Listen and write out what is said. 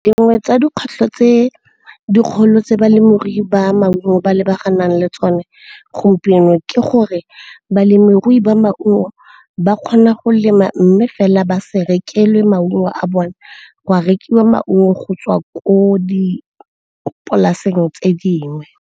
Dingwe tsa dikgwetlho tse dikgolo tse balemirui ba maungo ba lebaganeng le tsone gompieno ke gore balemirui ba maungo ba kgona go lema mme fela ba se rekelwe maungo a bone, go a rekiwa maungo go tswa ko dipolaseng tse dingwe.